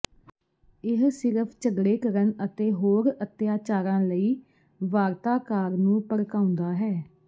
ਇਹ ਸਿਰਫ ਝਗੜੇ ਕਰਨ ਅਤੇ ਹੋਰ ਅਤਿਆਚਾਰਾਂ ਲਈ ਵਾਰਤਾਕਾਰ ਨੂੰ ਭੜਕਾਉਂਦਾ ਹੈ